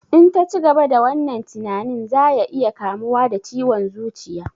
In ta cigaba da wannan tinanin za ya iya kamuwa da ciwon zuciya